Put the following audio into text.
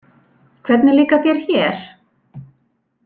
Hvernig líkar þér hér?